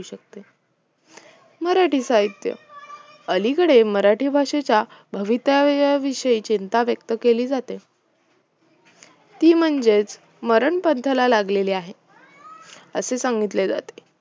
मराठी साहित्य अलीकडे मराठी भाषेच्या भवितव्याविषयी चिंता व्यक्त केली जाते ती म्हणजे मरणपंथाला लागलेली आहे असे सांगितले जाते